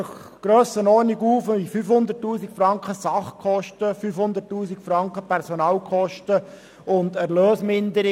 Davon entfallen je rund 500 000 Franken auf Sachkosten, Personalkosten und Erlösminderung.